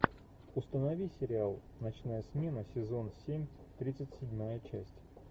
установи сериал ночная смена сезон семь тридцать седьмая часть